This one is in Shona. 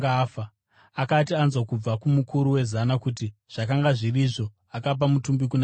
Akati anzwa kubva kumukuru wezana kuti zvakanga zviri izvo, akapa mutumbi kuna Josefa.